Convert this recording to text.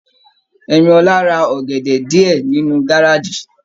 Ẹ̀míólá rà ọgẹdẹ diẹ nínú gárájí.